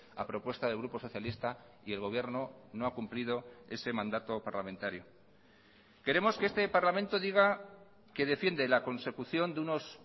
a propuesta del grupo socialista y el gobierno no ha cumplido ese mandato parlamentario queremos que este parlamento diga que defiende la consecución de unos